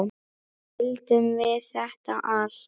Nú skildum við þetta allt.